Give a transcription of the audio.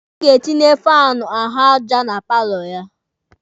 Ọ ga-etinye faanụ ahụ aja na paalọ ya.